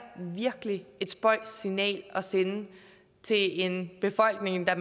virkelig et spøjst signal at sende til en befolkning der